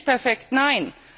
Es ist nicht perfekt,